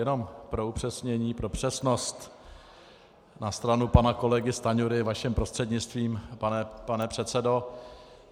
Jenom pro upřesnění, pro přesnost na stranu pana kolegy Stanjury, vaším prostřednictvím, pane předsedo.